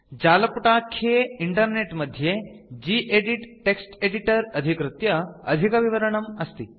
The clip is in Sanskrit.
जालपुटाख्ये इन्टरनेट् मध्ये गेदित् टेक्स्ट् एडिटर अधिकृत्य अधिकविवरणम् अस्ति